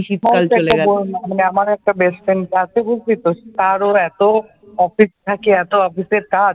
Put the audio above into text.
আমার একটা best friend আছে বুঝলি তো, তারও এত অফিস থাকে এতো অফিসের কাজ